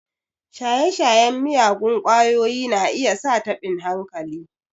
Shaye-shayen miyagun ƙwayoyi na iya sa taɓin hankali.